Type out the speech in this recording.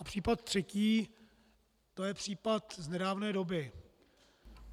A případ třetí, to je případ z nedávné doby.